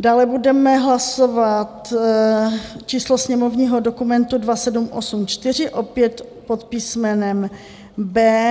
Dále budeme hlasovat číslo sněmovního dokumentu 2784 opět pod písmenem B.